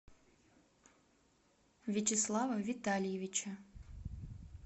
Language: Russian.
вячеслава витальевича